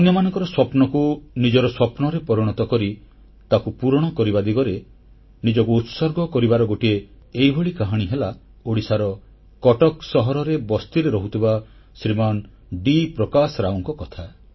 ଅନ୍ୟମାନଙ୍କର ସ୍ୱପ୍ନକୁ ନିଜର ସ୍ୱପ୍ନରେ ପରିଣତ କରି ତାକୁ ପୂରଣ କରିବା ଦିଗରେ ନିଜକୁ ଉତ୍ସର୍ଗ କରିବାର ଗୋଟିଏ ଏହିଭଳି କାହାଣୀ ହେଲା ଓଡ଼ିଶାର କଟକ ସହରରେ ବସ୍ତିରେ ରହୁଥିବା ଶ୍ରୀମାନ ଡି ପ୍ରକାଶ ରାଓଙ୍କ କଥା